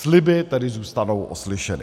Sliby tedy zůstanou oslyšeny.